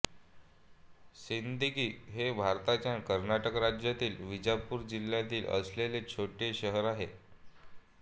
सिंदगी हे भारताच्या कर्नाटक राज्यातील विजापूर जिल्ह्यात असलेले छोटे शहर आहे